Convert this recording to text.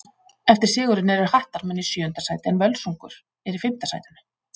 Eftir sigurinn eru Hattarmenn í sjöunda sæti en Völsungur er í fimmta sætinu.